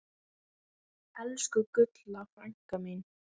Elsku Gulla frænka mín.